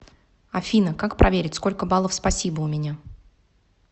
афина как проверить сколько баллов спасибо у меня